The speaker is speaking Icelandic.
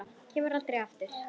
Kemur aldrei aftur.